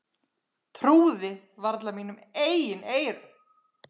Trúði varla mínum eigin eyrum.